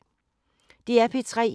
DR P3